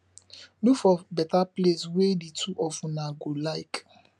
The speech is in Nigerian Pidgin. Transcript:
look for better place wey di two of una go like